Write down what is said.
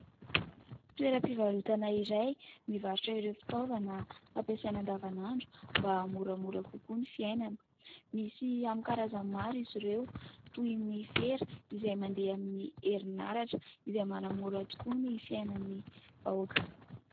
Toeram-pivarotana iray mivarotra ireo fitaovana fampiasaina an-davan'andro mba aha-moramora kokoa ny fiainana. Misy amin'ny karazany maro izy ireo : toy ny fera izay mandeha amin'ny herinaratra, izay manamora tokoa ny fiainan'ny vahoaka.